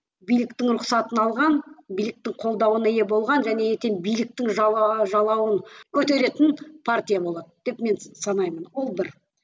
биліктің рұқсатын алған биліктің қолдауына ие болған және ертең биліктің жалауын көтеретін партия болады деп мен санаймын ол бір